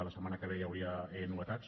la setmana que ve hi hauria novetats